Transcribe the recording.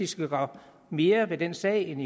skal gøre mere ved den sag end